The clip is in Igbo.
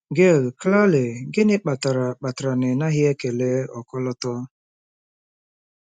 Gail: Claire, gịnị kpatara kpatara na ị naghị ekele ọkọlọtọ?